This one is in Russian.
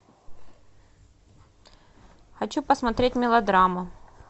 хочу посмотреть мелодраму